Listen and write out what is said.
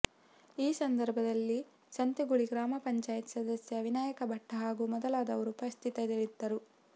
ಈ ಸಂದರ್ಭದಲ್ಲಿ ಸಂತೇಗುಳಿ ಗ್ರಾಮ ಪಂಚಾಯತ ಸದಸ್ಯ ವಿನಾಯಕ ಭಟ್ಟ ಹಾಗೂ ಮೊದಲಾದವರು ಉಪಸ್ಥಿತರಿದ್ದರು